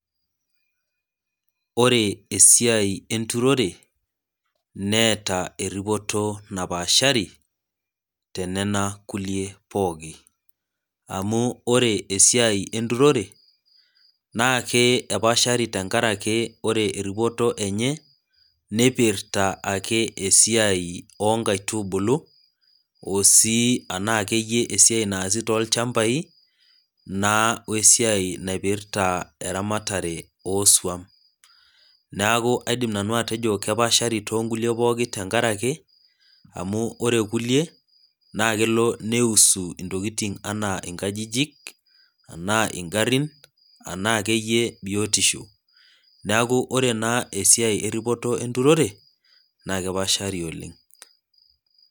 Ore esiai enturore netaa esiai napaashari tenena kulie pookin ,naa ore esiai entorire naa kepaashari tenkaraki ore eripoto enye nipirta ake esiai oonkaitubulu osii akeyie esiai naasita tolchamapai naa wesiai naipirta eramaatare ooswam. neeku kaidim nanu atejio kepaashari toonkulie pookin tenkaraki amu ore kulie naa kelo naiusu ntokiting naijo nkajijik ena ngarin ena akeyie biotisho. neeku ore naa esiai eripoto enturore naa kepaashari oleng.